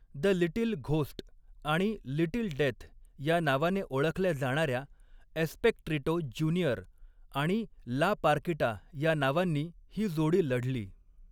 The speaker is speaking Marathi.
द लिटिल घोस्ट' आणि 'लिटिल डेथ' या नावाने ओळखल्या जाणार्या एस्पेक्ट्रिटो ज्युनियर आणि ला पार्किटा या नावांनी ही जोडी लढली.